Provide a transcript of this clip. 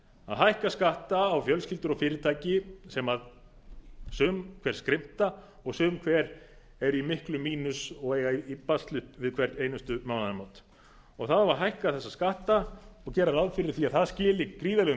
að hækka skatta á fjölskyldur og fyrirtæki sem sum hver skrimta og sum hver eru í miklum mínus og eiga í basli við hver síðustu mánaðamót það á að hækka þessa skatta og gera ráð fyrir að það skili gríðarlegum